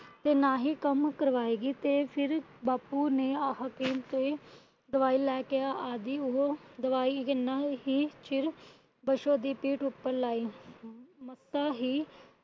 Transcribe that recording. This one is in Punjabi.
ਤੇ ਨਾ ਹੀ ਕੰਮ ਕਰਵਾਏਗੀ। ਤੇ ਫਿਰ ਬਾਪੂ ਨੇ ਆਹ ਹਕੀਮ ਤੇ ਦਵਾਈ ਲੈਕੇ ਆਦਿ। ਉਹ ਦਵਾਈ ਕਿੰਨਾ ਹੀ ਚਿਰ ਪਾਸ਼ੋ ਦੀ ਪਿੱਠ ਉੱਪਰ ਲਗਾਈ। ਤਾਂ ਹੀ